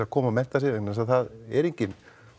koma og mennta sig vegna þess að það er engin